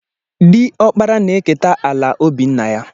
Diọkpara na-eketa ala obì nna ya.